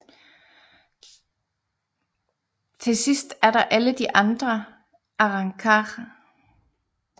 Til sidst er der alle de andre arrancar